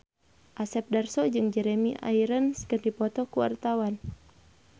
Asep Darso jeung Jeremy Irons keur dipoto ku wartawan